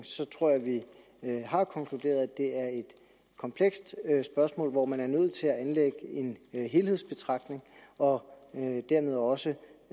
tror jeg vi har konkluderet at det er et komplekst spørgsmål hvor man er nødt til at anlægge en helhedsbetragtning og dermed også